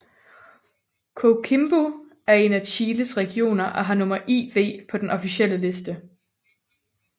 Coquimbo er en af Chiles regioner og har nummer IV på den officielle liste